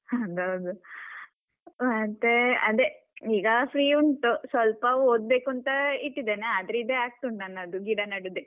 ಅದೌದು, ಮತ್ತೆ ಅದೇ ಈಗ free ಉಂಟು ಸ್ವಲ್ಪ ಓದ್ಬೇಕುಂತ ಇಟ್ಟಿದ್ದೇನೆ ಆದ್ರೆ ಇದೇ ಆಗ್ತುಂಟು ನನ್ನದು ಗಿಡನೆಡುದೇ.